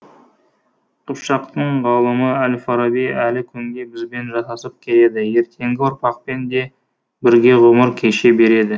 қыпшақтың ғалымы әл фараби әлі күнге бізбен жасасып келеді ертеңгі ұрпақпен де бірге ғұмыр кеше береді